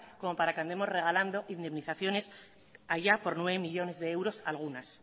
como para que vayamos regalando indemnizaciones haya por nueve millónes de euros algunas